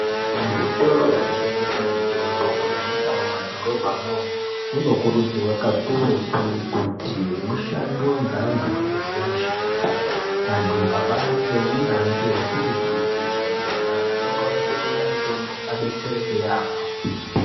Muzvitoro zvinotengesa mitombo kunyanyisa mumadhorobha mwo munokuridzirwa kakurutu kuti mushandwe nge vantu vanoziva mishando yavo antu ambari nyanzvi ukurutu kuitira antu vanenge vaiya kutenga mtombo abatsirike yambo.